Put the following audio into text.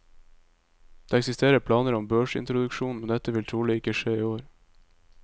Det eksisterer planer om børsintroduksjon, men dette vil trolig ikke skje i år.